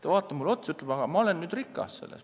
Ta vaatas mulle otsa ja ütles, et ma olen nüüd rikas.